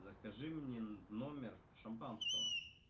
закажи мне в номер шампанского